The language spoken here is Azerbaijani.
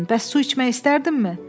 Bəs su içmək istərdinmi?